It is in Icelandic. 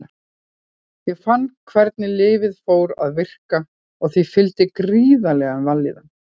Ég fann hvernig lyfið fór að virka og því fylgdi gríðarleg vellíðan.